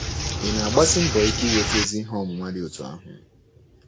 Ị̀ na-agbasi mbọ ike inweta ezi ihe ọmụma dị otú ahụ?